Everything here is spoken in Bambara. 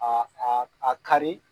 a kari.